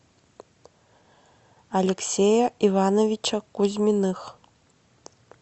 алексея ивановича кузьминых